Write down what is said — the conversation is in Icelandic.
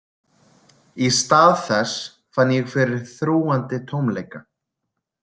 Í stað þess fann ég fyrir þrúgandi tómleika.